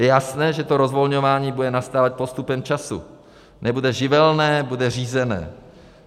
Je jasné, že to rozvolňování bude nastávat postupem času, nebude živelné, bude řízené.